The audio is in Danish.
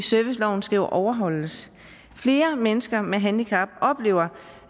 serviceloven skal overholdes flere mennesker med handicap oplever